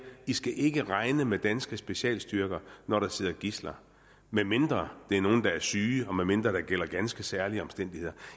i skal ikke regne med danske specialstyrker når der sidder gidsler medmindre det er nogle tidsler der er syge og medmindre der gælder ganske særlige omstændigheder